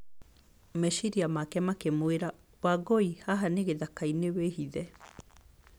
Meciria make makĩmwĩra, "Wangũi, haha nĩ gĩthaka-inĩ. Wĩhithe!"